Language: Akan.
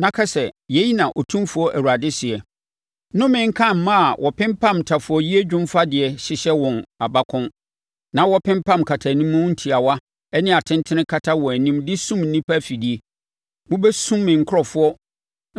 na ka sɛ, ‘Yei na Otumfoɔ Awurade seɛ: Nnome nka mmaa a wɔpempam ntafowayie dwomfadeɛ hyehyɛ wɔn abakɔn na wɔpempam nkatanimu ntiawa ne atentene kata wɔn anim de sum nnipa afidie. Mobɛsum me nkurɔfoɔ